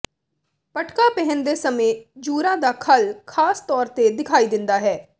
ਪਟਕਾ ਪਹਿਨਦੇ ਸਮੇਂ ਜੂਰਾ ਦਾ ਖੱਲ ਖਾਸ ਤੌਰ ਤੇ ਦਿਖਾਈ ਦਿੰਦਾ ਹੈ